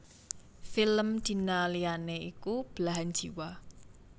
Film Dina liyané iku Belahan Jiwa